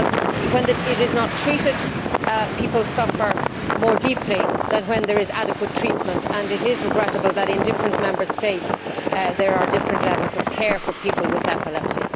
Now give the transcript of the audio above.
If epilepsy is not treated, people suffer more deeply than when there is adequate treatment. It is regrettable that in different Member States, there are different levels of care for people with epilepsy.